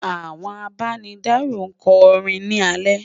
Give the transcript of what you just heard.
àwọn àbá ní daro kò rìn ní ale